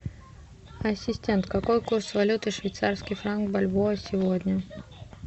ассистент какой курс валюты швейцарский франк бальбоа сегодня